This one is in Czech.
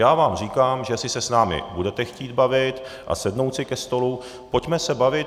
Já vám říkám, že jestli se s námi budete chtít bavit a sednout si ke stolu, pojďme se bavit.